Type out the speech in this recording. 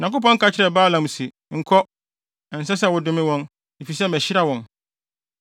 Onyankopɔn ka kyerɛɛ Balaam se, “Nkɔ. Ɛnsɛ sɛ wodome wɔn, efisɛ mahyira wɔn!”